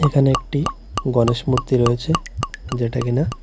এখানে একটি গণেশ মূর্তি রয়েছে যেটা কিনা--